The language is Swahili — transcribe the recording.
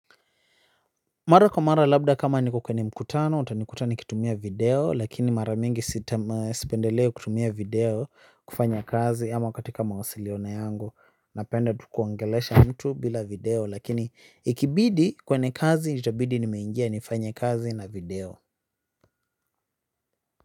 Mara kwa mara labda kama niko kwenye mkutano utanikuta nikitumia video lakini mara mingi sipendelei kutumia video kufanya kazi ama katika mawasiliano yangu napenda tu kuongelesha mtu bila video lakini ikibidi kwenye kazi itabidi nimeingia nifanye kazi na video.